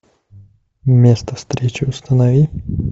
место встречи установи